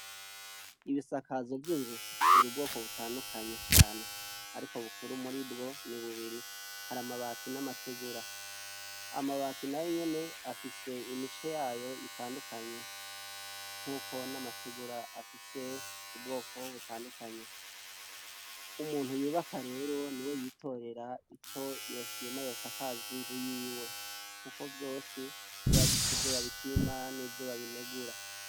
Ibisakazo vyinzu biri ubwoko butandukanye cane ariko bukuru muribwo ni bubiri hari amabati namategura amabati nayonyene ari ubwoko butandukanye nkuko namategura afise ubwoko butandukanye umuntu yubaka rero niwe yitorera ico yoshima yosakaza inzu yiwe kuko vyose biba bifise ivyo babishima nivyo babigaya